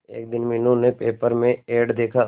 एक दिन मीनू ने पेपर में एड देखा